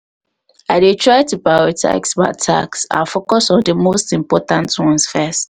i dey try to prioritize my tasks and focus on di most important ones first.